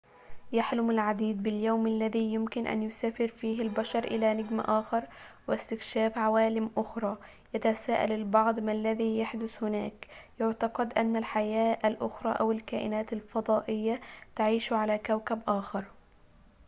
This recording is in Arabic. يحلم العديد باليوم الذي يمكن أن يسافر فيه البشر إلى نجم آخر واستكشاف عوالم أخرى يتساءل البعض ما الذي يحدث هناك يُعتقد أن الحياة الأخرى أو الكائنات الفضائية تعيش على كوكب آخر